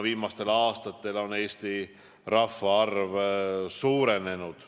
Viimastel aastatel on Eesti rahvaarv suurenenud.